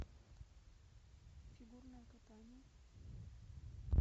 фигурное катание